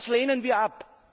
Das lehnen wir ab.